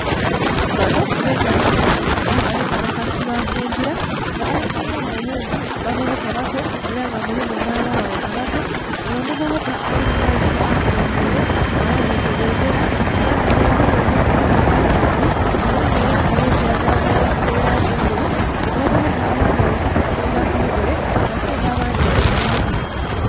Banho bekalakasi era nga bekalakasi ba kungila nga abasingamu obungi bavubuka bato era nga mulimu nha abaghala abato, onho omuvubuka ali maiso akulebeire aghanhike bendhera era nga bendhera enho elimu elangi ibiri nga mulimu langi eya kilagala mwabamu nhe'langi endheru. Abavubuka abandhi bali kutambulila ku bigere ate nga abandhi bali kutambulila mu mamotoka